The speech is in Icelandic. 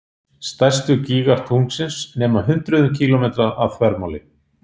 Stærstu gígar tunglsins nema hundruðum kílómetra að þvermáli.